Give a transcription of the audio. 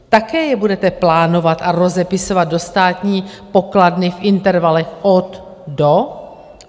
Také je budete plánovat a rozepisovat do státní pokladny v intervalech od - do?